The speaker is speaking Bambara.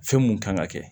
Fɛn mun kan ka kɛ